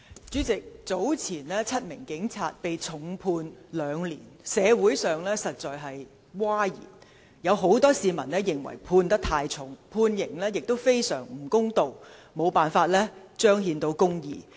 主席，早前7名警員被重判兩年，社會上一片譁然，有很多市民認為刑罰過重，判刑亦非常不公道，無法彰顯公義。